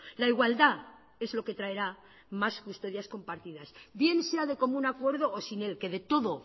la igualdad es lo que traerá más custodias compartidas bien sea de común acuerdo o sin él que de todo